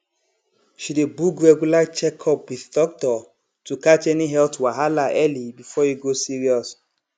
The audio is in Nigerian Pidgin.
she dey book regular checkup with doctor to catch any health wahala early before e go serious